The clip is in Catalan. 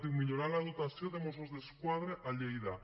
diu millorar la dotació de mossos d’esquadra a lleida